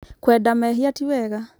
kũenda mehia tĩ wega